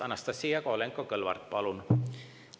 Anastassia Kovalenko-Kõlvart, palun!